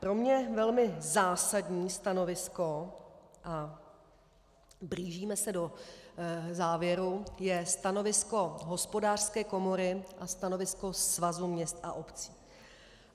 Pro mě velmi zásadní stanovisko, a blížíme se do závěru, je stanovisko Hospodářské komory a stanovisko Svazu měst a obcí.